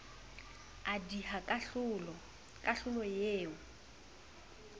a diha kahlolo kahlolo eo